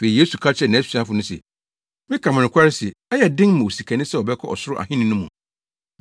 Afei Yesu ka kyerɛɛ nʼasuafo no se, “Meka mo nokware se ɛyɛ den ma osikani sɛ ɔbɛkɔ Ɔsoro Ahenni no mu.